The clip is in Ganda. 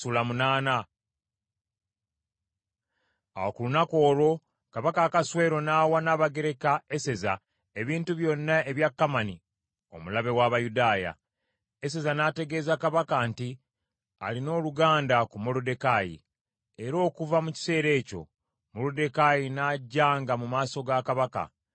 Awo ku lunaku olwo Kabaka Akaswero n’awa Nnabagereka Eseza ebintu byonna ebya Kamani omulabe w’Abayudaaya. Eseza n’ategeeza Kabaka nti alina oluganda ku Moluddekaayi, era okuva mu kiseera ekyo Moluddekaayi n’ajjanga mu maaso ga Kabaka.